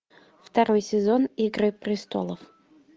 второй сезон игры престолов